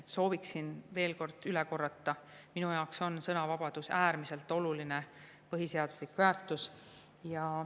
Soovin veel kord üle korrata: minu jaoks on sõnavabadus äärmiselt oluline põhiseaduslik väärtus.